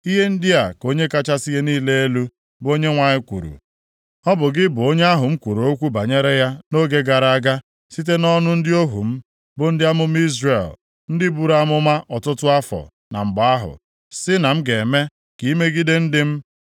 “ ‘Ihe ndị a ka Onye kachasị ihe niile elu, bụ Onyenwe anyị kwuru: Ọ bụ gị, bụ onye ahụ m kwuru okwu banyere ya nʼoge gara aga, site nʼọnụ ndị ohu m, bụ ndị amụma Izrel, ndị buru amụma ọtụtụ afọ na mgbe ahụ, sị, na m ga-eme ka ị megide ndị m.